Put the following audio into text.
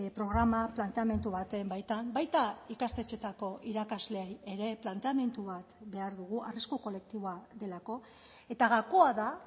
programa planteamendu baten baitan baita ikastetxeetako irakasleei ere planteamendu bat behar dugu arrisku kolektiboa delako eta gakoa da